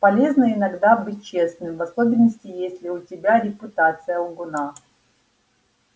полезно иногда быть честным в особенности если у тебя репутация лгуна